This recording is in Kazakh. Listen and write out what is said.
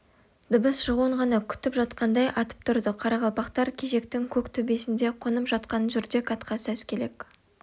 дыбыс шығуын ғана күтіп жатқандай атып тұрды қарақалпақтар кежектің көк төбесінде қонып жатқан жүрдек атқа сәскелік